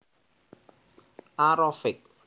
A Rafiq